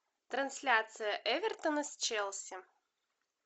трансляция эвертона с челси